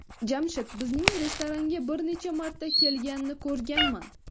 Jamshid bizning restoranga bir necha marta kelganini ko‘rganman.